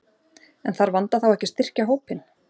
En þarf Vanda þá ekki að styrkja hópinn?